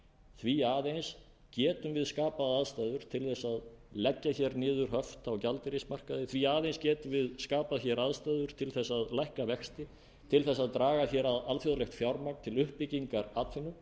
því aðeins getum við skapað aðstæður til að leggja niður höft á gjaldeyrismarkaði því aðeins getum við skapað aðstæður til að lækka vexti til að draga að alþjóðlegt fjármagn til uppbyggingar atvinnu